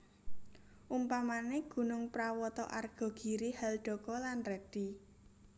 Umpamane gunung prawata arga giri haldaka lan redi